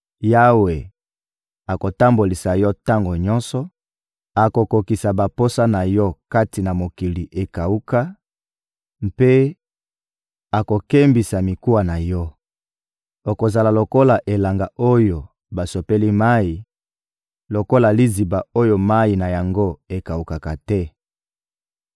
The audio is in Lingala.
Yawe akotambolisa yo tango nyonso, akokokisa baposa na yo kati na mokili ekawuka mpe akokembisa mikuwa na yo. Okozala lokola elanga oyo basopeli mayi, lokola liziba oyo mayi na yango ekawukaka te.